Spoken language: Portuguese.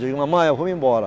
Digo, mamãe, eu vou embora.